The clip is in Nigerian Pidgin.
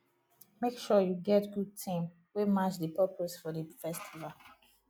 make sure you get good theme wey match di purpose of di festival